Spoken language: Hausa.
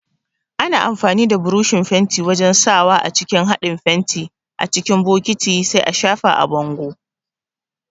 Ana amfani da buroshin fenti wajan sawa a cikin haɗin fenti a cikin bokati sai a shafa a bango